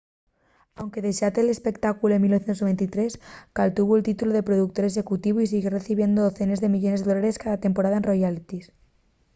anque dexare l’espectáculu en 1993 caltuvo’l títulu de productor executivu y siguió recibiendo decenes de millones de dólares cada temporada en royalties